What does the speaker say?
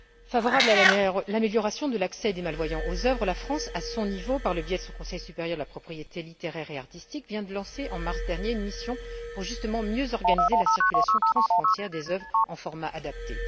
Favorable à l'amélioration de l'accès des malvoyants aux œuvres, la France, à son niveau, par le biais de son Conseil supérieur de la propriété littéraire et artistique, vient de lancer, en mars dernier, une mission pour, justement, mieux organiser la circulation transfrontière des œuvres dans un format adapté.